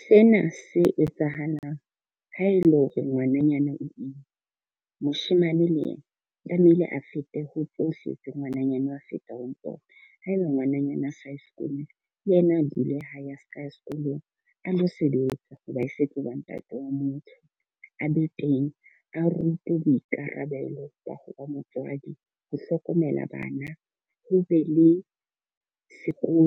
Sena se etsahalang ha e le hore ngwananyana o imme. Moshemane le ena tlamehile a fete ho tsohle tse ngwananyana wa feta ho tsona. Haeba ngwananyana a saye sekolong le yena a dule hae a srka ya sekolong a lo sebetsa hoba e se tloba ntate o motho a be teng. A rutwe boikarabelo ba ho wa motswadi, ho hlokomela bana ho be le sekolo